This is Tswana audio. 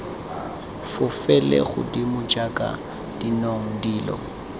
fofele godimo jaaka dinong dilo